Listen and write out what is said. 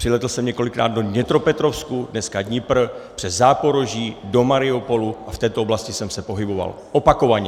Přilétl jsem několikrát do Dněpropetrovsku, dneska Dnipro, přes Záporoží, do Mariupolu a v této oblasti jsem se pohyboval opakovaně.